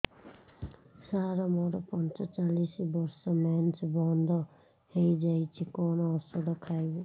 ସାର ମୋର ପଞ୍ଚଚାଳିଶି ବର୍ଷ ମେନ୍ସେସ ବନ୍ଦ ହେଇଯାଇଛି କଣ ଓଷଦ ଖାଇବି